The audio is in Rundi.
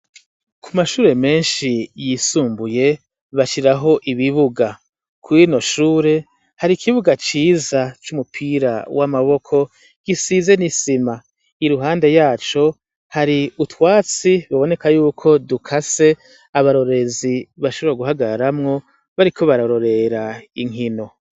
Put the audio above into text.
Kumashure menshi yisumbuye bashiraho ibibuga. Kuri rino shure har’ikibuga Ciza c’umupira w’amaboko gisize n’isima .Iruhande yaco ,hari utwatsi tuboneka yuko dukase abarorerezi bashobora guhagararamwo bariko bararorera inkino.